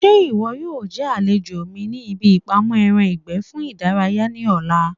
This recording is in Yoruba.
Ṣé ìwọ yóò jẹ́ àlejò mi ní ibi ìpamọ́ ẹran ìgbẹ́ fún ìdárayá ní ọ̀la?